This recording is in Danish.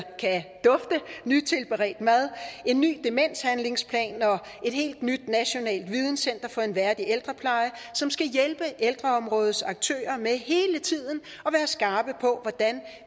veltilberedt mad en ny demenshandlingsplan og et helt nyt nationalt videnscenter for en værdig ældrepleje som skal hjælpe ældreområdets aktører med hele tiden at være skarpe på hvordan